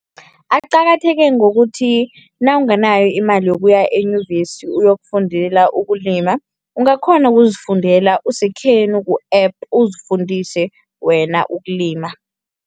Aqakatheke ngokuthi nawunganayo imali yokuya enyuvesi uyokufundela ukulima, ungakghona ukuzifundela usekhenu ku-App, uzifundise wena ukulima.